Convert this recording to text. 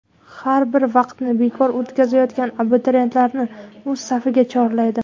Har bir vaqtini bekor o‘tkazayotgan abituriyentlarni o‘z safiga chorlaydi.